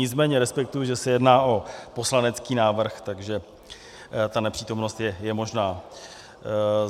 Nicméně respektuji, že se jedná o poslanecký návrh, takže ta nepřítomnost je možná.